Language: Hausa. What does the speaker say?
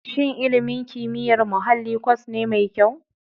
Shin ilimin kimiyyar muhalli kwas ne mai kyau?